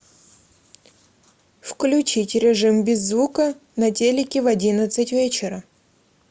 включить режим без звука на телике в одиннадцать вечера